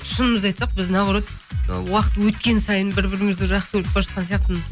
шынымызды айтсақ біз наоборот уақыт өткен сайын бір бірімізді жақсы көріп бара жатқан сияқтымын